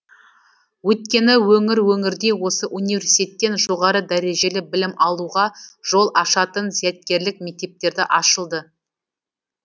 өйткені өңір өңірде осы университеттен жоғары дәрежелі білім алуға жол ашатын зияткерлік мектептерді ашылды